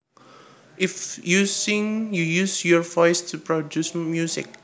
If you sing you use your voice to produce music